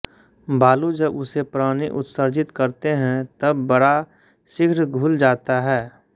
बालू जब उसे प्राणी उत्सर्जिंत करते हैं तब बड़ा शीघ्र घुल जाता है